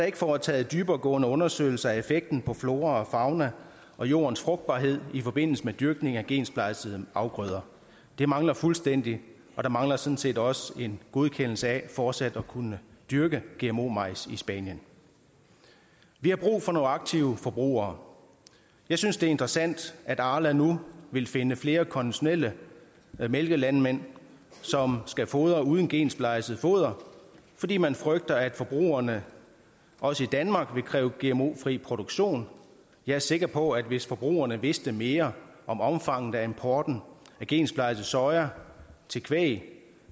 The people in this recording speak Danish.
ikke foretaget dyberegående undersøgelser af effekten på flora fauna og jordens frugtbarhed i forbindelse med dyrkning af gensplejsede afgrøder det mangler fuldstændigt og der mangler sådan set også en godkendelse af fortsat at kunne dyrke gmo majs i spanien vi har brug for nogle aktive forbrugere jeg synes det er interessant at arla nu vil finde flere konventionelle mælkelandmænd som skal fodre uden gensplejset foder fordi man frygter at forbrugerne også i danmark vil kræve gmo fri produktion jeg er sikker på at hvis forbrugerne vidste mere om omfanget af importen af gensplejset soja til kvæg